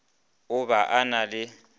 o ba a na le